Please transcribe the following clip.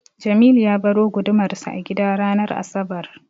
Jamilu ya baro gudumarsa a gida ranar asabar.